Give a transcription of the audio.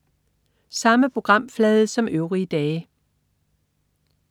Samme programflade som øvrige dage